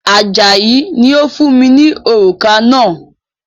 Ajayi ni ó fún mi ní òrùka náà